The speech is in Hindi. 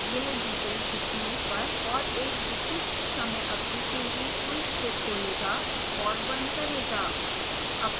यह दी गई तिथियों पर और एक विशिष्ट समय अवधि के लिए quiz को खोलेगा और बंद करेगा